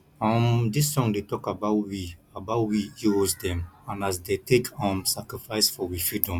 um dis song dey tok about we about we heros dem and as dey take um sacrifice for we freedom